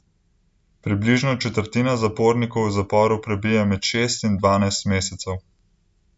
Približno četrtina zapornikov v zaporu prebije med šest in dvanajst mesecev.